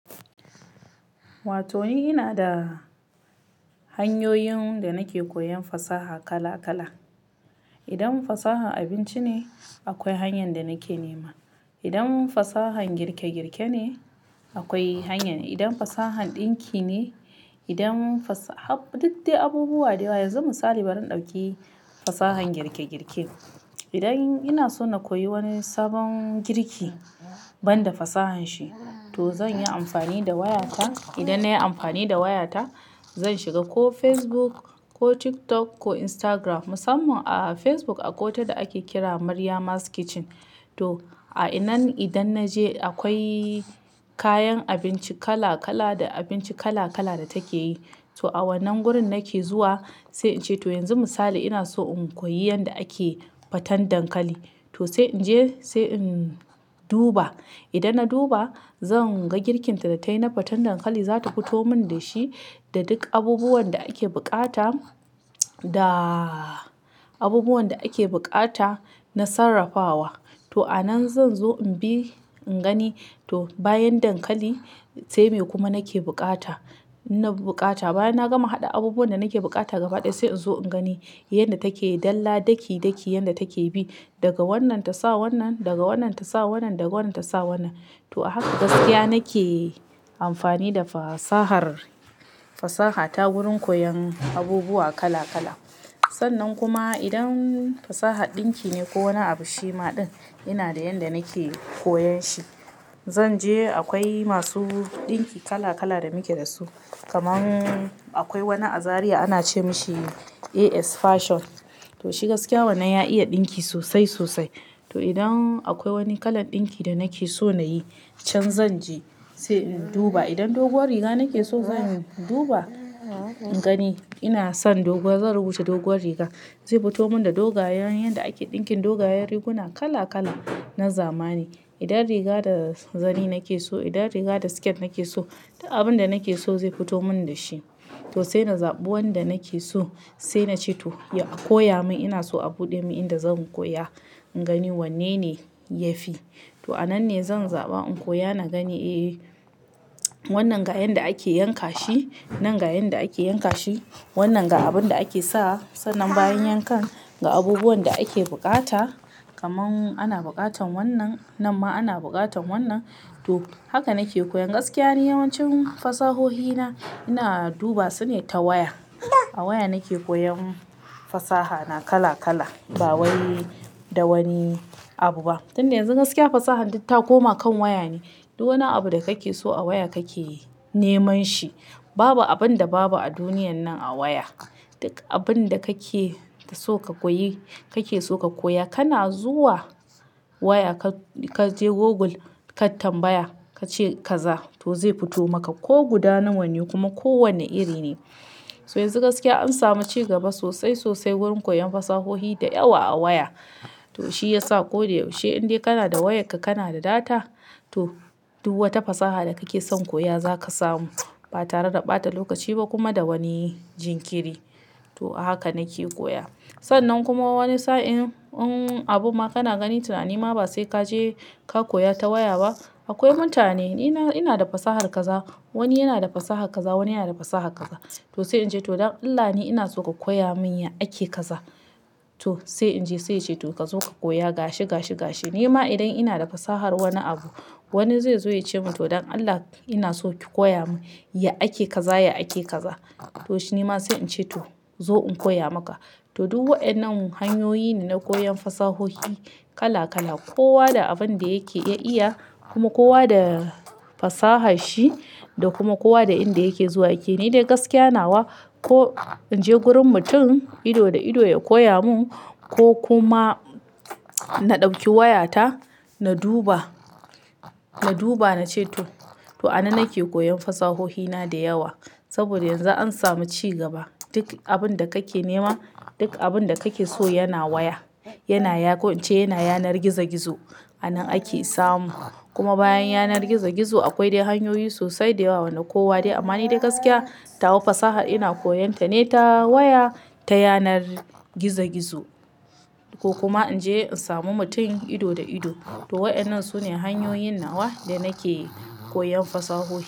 Wato ni ina da hanyoyin da nake koyan fasaha kala kala. Idan fasaha abinci ne, akwai hanyan da nake nema. Idan fasahan girke girke ne, akwai hanyar. Idan fasahan ɗinki ne, idan fasa-- har duk dai abubuwa da yawa yanzu misali ban ɗauki fasahan girke girke. Idan ina so na koyi wani sabon girki, ban da fasahan shi, to zan yi amfani da wayata. Idan na yi amfani da wayata, zan shiga ko Facebook ko TikTok ko Instagram. Musamman a Facebook akwai wata da ake kira "Mariama's Kitchen" to a'inan idan na je akwai kayan abinci kala kala da abinci kala kala da take yi. To a wannan gurin nake zuwa sai ince to yanzu misali ina so in koyi yanda ake faten dankali. To sai in je sai in duba. Idan na duba, zan ga girkinta da tayi na faten dankali. Zata fito mun da shi da duk abubuwan da ake bukata da abubuwan da ake bukata na sarrafawa. To anan zan zo in bi, in gani to bayan dankali, se me kuma nake bukata. Ina bukata. Bayan na gama hada abubuwan da nake bukata gaba ɗaya sai in zo in gani yanda take dalla daki daki yanda take bi. Daga wannan ta sa wannan, daga wannan ta sa wannan, daga wannan ta sa wannan. To a haka gaskiya nake amfani da fasahar-- fasahata wurin koyan abubuwa kala kala. Sannan kuma idan fasahar ɗinki ne ko wani abu shi ma ɗin, ina da yanda nake koyan shi. Zan je akwai masu ɗinki kala kala da muke da su. Kaman akwai wani a Zariya ana ce mishi AS Fashion. To shi gaskiya wannan ya iya ɗinki sosai sosai. To idan akwai wani kalan ɗinki da nake so na yi, can zan je sai in duba. Idan doguwar riga nake so, zan duba, in gani ina son doguwa zan rubuta doguwar riga. Zai fito mun da dogayen yanda ake ɗinkin dogayen riguna kala kala na zamani. Idan riga da zani nake so, idan riga da skirt nake so, duk abun da nake so zai fito mun da shi. To sai na zabi wanda nake so sai nace to ya-- a koya mun ina so a buɗe mun inda zan koya. In gani wanne ne yafi. To anan ne zan zaɓa in koya na gani, "Eh wannan ga yanda ake yanka shi, nan ga yanda ake yanka shi, wannan ga abun da ake sa." Sannan bayan yankan ga abubuwan da ake bukata kaman ana bukatan wannan. Nan ma ana bukatan wannan. To haka nake koyan. Gaskiya ni yawancin fasahohi na, ina duba su ne ta waya. A waya nake koyan fasahana kala kala ba wai da wani abu ba. Tun da yanzu gaskiya fasahan duk ta koma kan waya ne. Duk wani abu da kake so a waya kake neman shi. Babu abun da babu a duniyan nan a waya. Duk abun da kake so ka koyi, kake so ka koya kana zuwa waya ka-ka je Google ka tambaya. Ka ce kaza to zai fito maka ko guda nawa ne yi kuma ko wane iri ne. To yanzu gaskiya an samu ci gaba sosai sosai wurin koyan fasahohi da yawa a waya. To shi yasa ko da yaushe in dai kana da wayarka kana da data, to duk wata fasaha da kake son koya zaka samu. Ba tare da ɓata lokaci ba kuma da wani jinkiri. To a haka nake koya. Sannan kuma wani sa'in in abu ma kana gani tunani ma ba sai ka je ka koya ta waya ba, akwai mutane. Ina-ina da fasahar kaza, wani yana da fasahar kaza, wani yana da fasahar kaza. To sai in je to don Allah ni ina so ka koya mun ya ake kaza. To sai in je sai yace to kazo ka koya gashi gashi gashi. Nima idan ina da fasahar wani abu, wani zai zo ya ce mun "To don Allah ina so ki koya mun ya ake kaza, ya ake kaza." To shi nima sai in ce to zo in koya maka. To duk wayannan hanyoyi ne na koyan fasahohi kala kala. Kowa da abun da yake ya iya kuma kowa da fasahar shi da kuma kowa da inda yake zuwa yake. Ni dai gaskiya nawa ko in je wurin mutum ido da ido ya koya mun ko kuma na ɗauki wayata, na duba, na duba na ce to. To a nan nake koyan fasahohi na da yawa. Saboda yanzu an samu ci gaba. Duk abun da kake nema, duk abun da kake so yana waya. Yana ya-- ko in ce yana yanar gizo gizo. A nan ake samu. Kuma bayan yanar gizo gizo akwai dai hanyoyi sosai da yawa wanda kowa dai. Amma ni dai gaskiya, tawa fasahar ina koyon ta ne ta waya ta yanar gizo gizo ko kuma in je in samu mutum ido da ido. To waɗannan su ne hanyoyin nawa da nake koyan fasahohi.